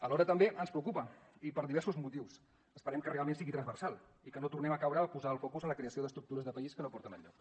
alhora també ens preocupa i per diversos motius esperem que realment sigui transversal i que no tornem a caure a posar el focus en la creació d’estructures de país que no porten enlloc